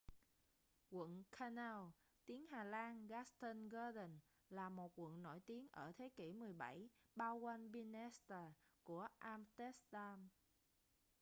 quận canal tiếng hà lan: grachtengordel là một quận nổi tiếng ở thế kỷ 17 bao quanh binnenstad của am-xtéc-đam